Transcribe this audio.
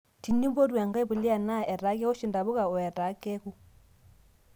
Tinipotu enkae puliya NAA etaa kewosh intapuka oo etaa keku